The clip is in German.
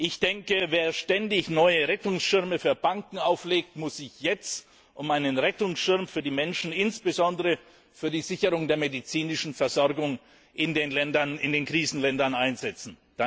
Ich denke, wer ständig neue Rettungsschirme für Banken auflegt, muss sich jetzt um einen Rettungsschirm für die Menschen, insbesondere für die Sicherung der medizinischen Versorgung in den Krisenländern einsetzen.